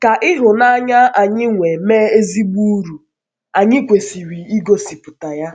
Ka ịhụnanya ịhụnanya anyị wee mee ezigbo uru, anyị kwesịrị igosipụta ya.